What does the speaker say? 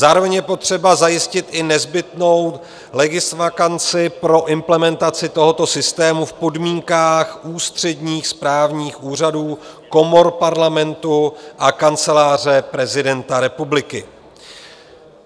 Zároveň je potřeba zajistit i nezbytnou legisvakanci pro implementaci tohoto systému v podmínkách ústředních správních úřadů, komor Parlamentu a Kanceláře prezidenta republiky.